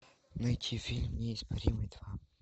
найти фильм неоспоримый два